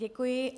Děkuji.